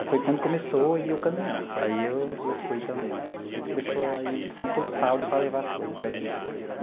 Aí foi quando começou a ir o caminhão, aí eu eu fui também, aí a gente começou a ir sempre todo sábado para levar as coisas para vender.